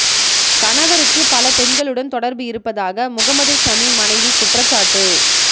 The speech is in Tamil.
கணவருக்கு பல பெண்களுடன் தொடர்பு இருப்பதாக முகமது ஷமி மனைவி குற்றசாட்டு